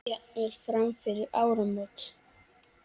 Jafnvel fram yfir áramót.